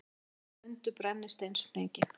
Bæði mundu brennisteinsfnykinn.